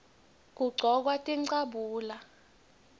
kugcokwa tincabule